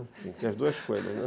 Tem que ter as duas coisas, né?